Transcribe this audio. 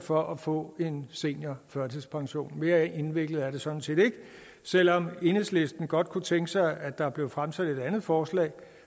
for at få en seniorførtidspension mere indviklet er det sådan set ikke selv om enhedslisten godt kunne tænke sig at der blev fremsat et andet forslag